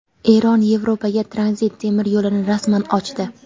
Eron Yevropaga tranzit temir yo‘lini rasman ochdi.